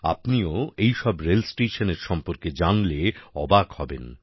আপনিও এইসব রেলস্টেশনের সম্পর্কে জানলে অবাক হবেন